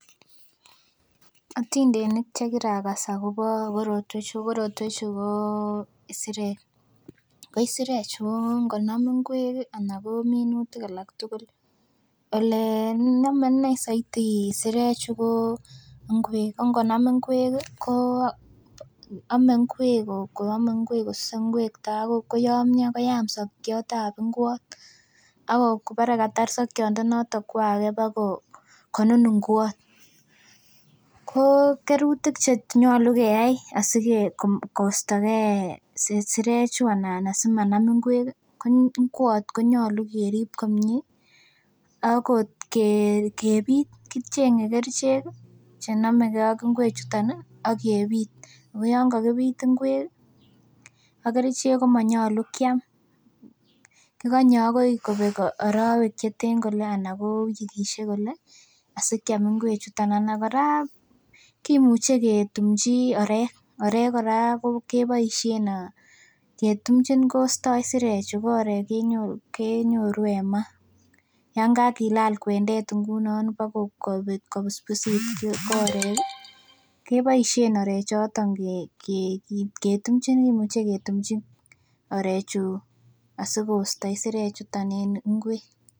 Otindenik chekirakas akobo korotwechu, korotwechu ko isirek ko isirek chu ngonam ngwek ih anan ko minutik alak tugul elenome inei soiti isirek chu ko ngwek ko ngonam ngwek ih ko ome ngwek ko ome ngwek kosuse ngwek tai koyomyo koyam sokiot ab ngwot ak bore katar sokiondonoton kwo age bokonun ngwot. Ko kerutik chenyolu keyai asike kostogee isirek chuu anan simanam ngwek ih ko ngwot konyolu kerib komie ak kebit, kicheng'e kerichek ih chenomegee ak ngwek chuton ih akebit. Ako yan kakibit ngwek ak kerichek ih komonyolu kiam , kikonye akoi kobek arowek cheten kole anan wikisiek kole asikiam ngwek chuton anan kora kimuche ketumchi orek, orek kora keboisien ketumchin kostoi isirek chu ko orek kenyoru en maa yaan kakilal kwendet ngunon bokobusbusit ko orek ih keboisien orek choton ketumchin kimuche ketumchin orek chu asikosto isirek chuton en ngwek